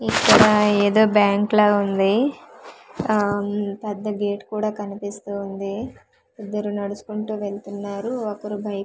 ఇక్కడ ఏదో బ్యాంక్ లా ఉంది ఆమ్ పెద్ద గేట్ కూడా కనిపిస్తూ ఉంది ఇద్దరు నడుచుకుంటూ వెళ్తున్నారు ఒకరు బైక్ --